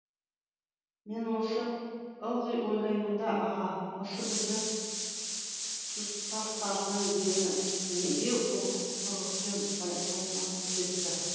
мен осы ылғи ойлаймын да аға осы біздің тұстастардың дені неге ұрлықпен байланысып кетті